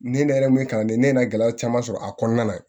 Ni ne yɛrɛ min kalannen ne gɛlɛya caman sɔrɔ a kɔnɔna na